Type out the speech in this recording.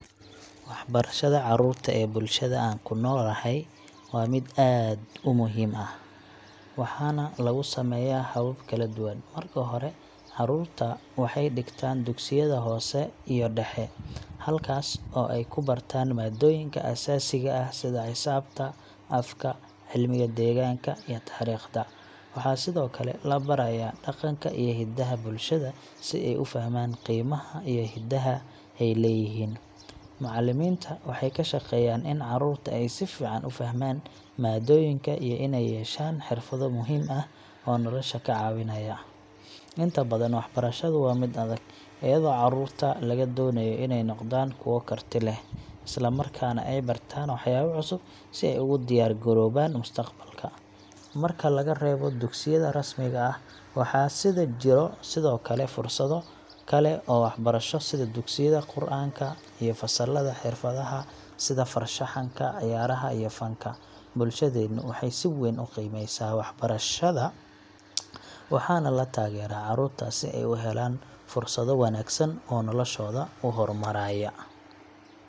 Waxbarashada carruurta ee bulshada aan ku noolahay waa mid aad u muhiim ah, waxaana lagu sameeyaa habab kala duwan. Marka hore, carruurta waxay dhigtaan dugsiyada hoose iyo dhexe, halkaas oo ay ku bartaan maadooyinka aasaasiga ah sida xisaabta, afka, cilmiga deegaanka, iyo taariikhda. Waxa sidoo kale la barayaa dhaqanka iyo hiddaha bulshada si ay u fahmaan qiimaha iyo hidaha ay leeyihiin. Macallimiinta waxay ka shaqeeyaan in carruurta ay si fiican u fahmaan maadooyinka iyo inay yeeshaan xirfado muhiim ah oo nolosha ka caawinaya. Inta badan, waxbarashadu waa mid adag, iyadoo carruurta laga doonayo inay noqdaan kuwo karti leh, isla markaana ay bartaan waxyaabo cusub si ay ugu diyaar garoobaan mustaqbalka. Marka laga reebo dugsiyada rasmiga ah, waxaa jira sidoo kale fursado kale oo waxbarasho sida dugsiyada Qur’aanka iyo fasallada xirfadaha sida farshaxanka, ciyaaraha, iyo fanka. Bulshadeenu waxay si weyn u qiimeysaa waxbarashada, waxaana la taageeraa carruurta si ay u helaan fursado wanaagsan oo noloshooda u hormaraya.